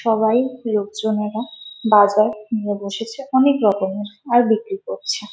সবাই লোকজনেরা বাজার নিয়ে বসেছে অনেক রকমের আর বিক্রি করছে ।